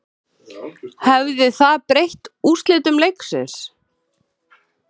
Hefði það breytt úrslitum leiksins?